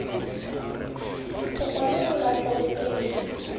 go kwalolola kgwebo e e